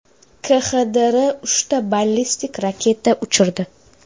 KXDR uchta ballistik raketa uchirdi.